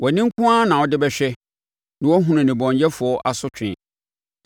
Wʼani nko ara na wode bɛhwɛ na woahunu nnebɔneyɛfoɔ asotwe.